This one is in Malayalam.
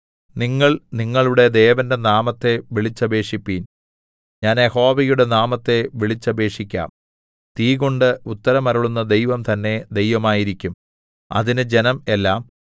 നിങ്ങൾ നിങ്ങളുടെ ദേവന്റെ നാമത്തെ വിളിച്ചപേക്ഷിപ്പിൻ ഞാൻ യഹോവയുടെ നാമത്തെ വിളിച്ചപേക്ഷിക്കാം തീകൊണ്ട് ഉത്തരം അരുളുന്ന ദൈവം തന്നേ ദൈവമായിരിക്കും അതിന് ജനം എല്ലാം